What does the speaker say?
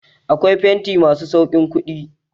Akwai fenti masu sauƙin kuɗi.